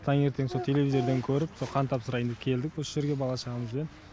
таңертең со телевизорден көріп со қан тапсырайын деп келдік осы жерге бала шағамызбен